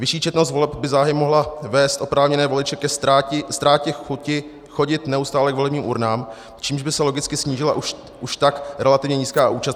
Vyšší četnost voleb by záhy mohla vést oprávněné voliče ke ztrátě chuti chodit neustále k volebním urnám, čímž by se logicky snížila už tak relativně nízká účast.